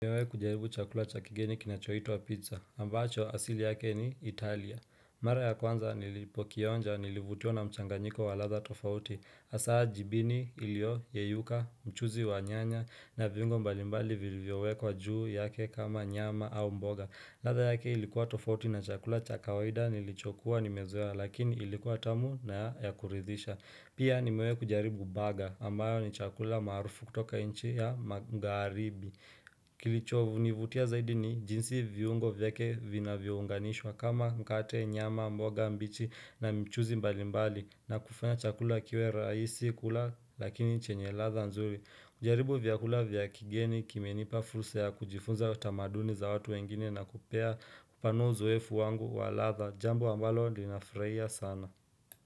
Nimewahi kujaribu chakula cha kigeni kinachoitwa pizza, ambacho asili yake ni Italia. Mara ya kwanza nilipo kionja nilivutiwa na mchanganyiko wa ladha tofauti. Hasa jibini ilio yeyuka, mchuzi wa nyanya na viungo mbalimbali vilivyowekwa juu yake kama nyama au mboga. Ladha yake ilikuwa tofauti na chakula cha kawaida nilichokuwa nimezoa lakini ilikuwa tamu na ya kuridhisha. Pia nimewahi kujaribu baga ambayo ni chakula maarufu kutoka nchi ya magharibi. Kilichonivutia zaidi ni jinsi viungo vyake vinavyo unganishwa kama mkate nyama mboga mbichi na mchuzi mbalimbali na kufanya chakula kiwe rahisi kula lakini chenye ladha nzuri kujaribu vyakula vya kigeni kimenipa fursa ya kujifunza tamaduni za watu wengine na kupea kupanua uzoefu wangu wa ladha Jambo ambalo ninafurahia sana.